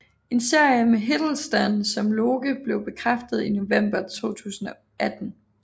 En serie med Hiddleston som Loke blev bekræftet i november 2018